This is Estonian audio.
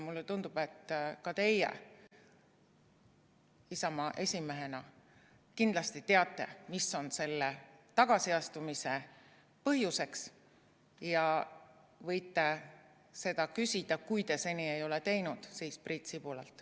Mulle tundub, et teie Isamaa esimehena kindlasti teate, mis on selle tagasiastumise põhjuseks, ja võite seda küsida, kui te seda seni teinud ei ole, Priit Sibulalt.